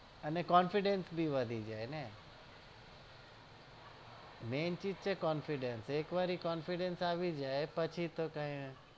અને confidence ભી વધી જાય ને main ચીજ છે confidence એક વાર ઇ confidence આવી જાય પછી તો કઈ